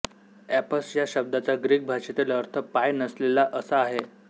apps या शब्दाचा Greek भाषेतील अर्थ पाय नसलेला असा आहे